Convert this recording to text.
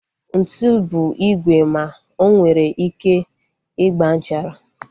Ntụ bụ igwe ma onwere ike ịgba nchara